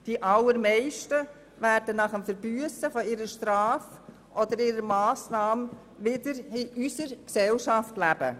Die allermeisten werden nach dem Verbüssen ihrer Strafe oder ihrer Massnahme wieder in unserer Gesellschaft leben.